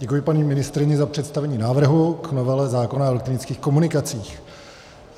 Děkuji paní ministryni za představení návrhu k novele zákona o elektronických komunikacích.